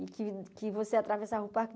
que que você atravessava o parque.